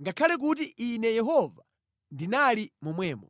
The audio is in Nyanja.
ngakhale kuti Ine Yehova ndinali momwemo.